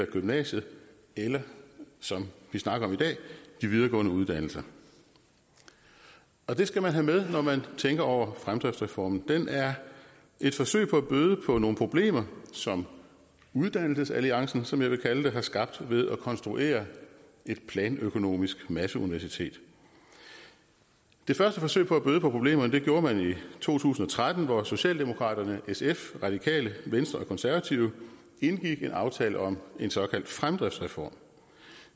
gymnasiet eller som vi snakker om i dag de videregående uddannelser det skal man have med når man tænker over fremdriftsreformen den er et forsøg på at bøde på nogle problemer som uddannelsesalliancen som jeg vil kalde den har skabt ved at konstruere et planøkonomisk masseuniversitet det første forsøg på at bøde på problemerne gjorde man i to tusind og tretten hvor socialdemokraterne sf radikale venstre og konservative indgik en aftale om en såkaldt fremdriftsreform